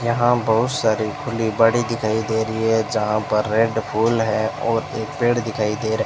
यहां बहुत सारे खुली बड़ी दिखाई दे रही है जहां पर रेड फूल है और एक पेड़ दिखाई दे रहा --